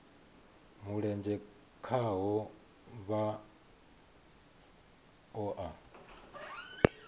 mulenzhe khaho vha o a